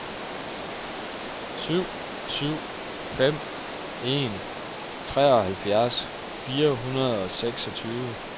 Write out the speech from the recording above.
syv syv fem en treoghalvfjerds fire hundrede og seksogtyve